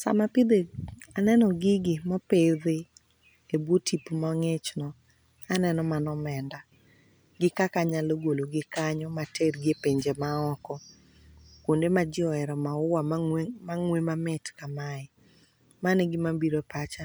Sama aneno gigi mopidhi e bwo tipo mang'ichno, aneno mana omenda, gi kaka anyalo gologi kanyo matergi e pinje maoko, kwonde ma ji ohero maua, mang'we mamit kamae. Mano e gima biro e pacha,